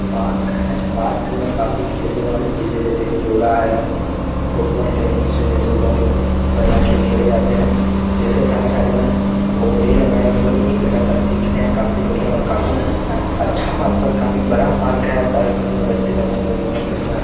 park मे है park मे काफी खेलने वाली चीज है जैसे की झूला है फुटबॉल टेनिस जैसे बॉल बढ़िया खेल खेले जाते है जिसके साइड साइड मे पौधे लगाए हुए है जो एक लगातार दिख रहे हैकाफी बढ़िया और काफी अच्छा पार्क और काफी बडा पार्क है पार्क मे बच्चे |]